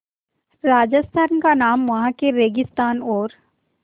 राजस्थान का नाम वहाँ के रेगिस्तान और